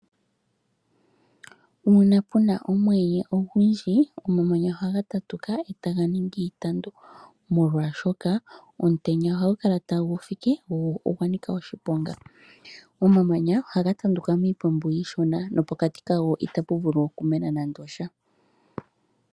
Uuna puna omweenye ogundji omamanya ohaga tatuka etaga ningi iitandu molwaashoka omutenya ohagu kala tagu fike go ogwa nika oshiponga. Omamanya ohaga tanduka miitandu iishona nopokati kago itapu vuli okumena nando osha.